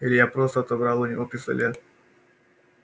илья просто отобрал у него пистолет